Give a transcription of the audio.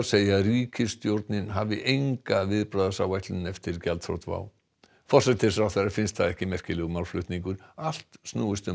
segja að ríkisstjórnin hafi enga viðbragðsáætlun eftir gjaldþrot WOW forsætisráðherra finnst það ekki merkilegur málflutningur allt snúist um